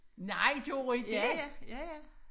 Nej gjorde I det?